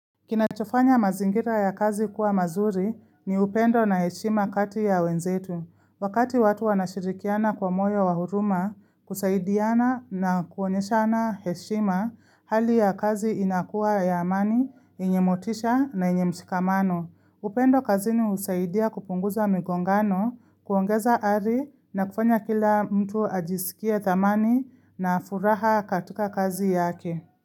Kinachofanya mazingira ya kazi kuwa mazuri ni upendo na heshima kati ya wenzetu. Wakati watu wanashirikiana kwa moyo wa huruma, kusaidiana na kuonyeshana heshima, hali ya kazi inakuwa ya amani, yenye motisha na yenye mshikamano. Upendo kazini husaidia kupunguza migongano, kuongeza ari na kufanya kila mtu ajisikie thamani na furaha katika kazi yake.